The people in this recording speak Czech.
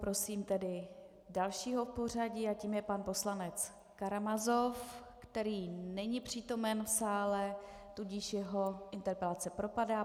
Prosím tedy dalšího v pořadí a tím je pan poslanec Karamazov, který není přítomen v sále, tudíž jeho interpelace propadá.